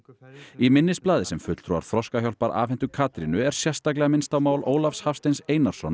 í minnisblaði sem fulltrúar Þroskahjálpar afhentu Katrínu er sérstaklega minnst á mál Ólafs Hafsteins Einarssonar